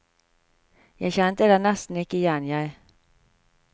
Jeg kjente deg nesten ikke igjen jeg.